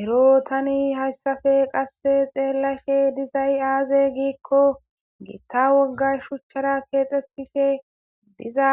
ero tani hayssafe qasse xeellashe dizay aaze giikko giitta woggay shuchchara keexxetishe diza